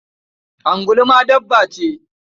Angulu ma dabba ce?